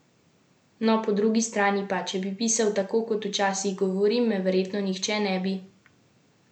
No, po drugi strani pa, če bi pisal tako, kot včasih govorim, me verjetno nihče ne bi razumel.